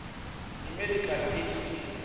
imedical aid scheme